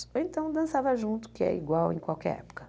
Ou então dançava junto, que é igual em qualquer época.